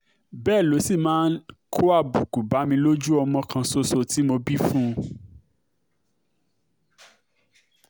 bẹ́ẹ̀ ló sì máa ń kó àbùkù bá mi lójú ọmọ kan ṣoṣo tó bí fún mi